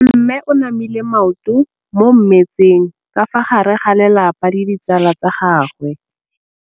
Mme o namile maoto mo mmetseng ka fa gare ga lelapa le ditsala tsa gagwe.